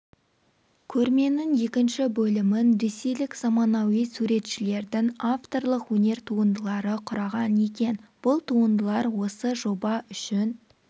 көрменің екінші бөлімін ресейлік заманауи суретшілердің авторлық өнер туындылары құраған екен бұл туындылар осы жоба үшін